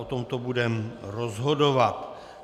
O tomto budeme rozhodovat.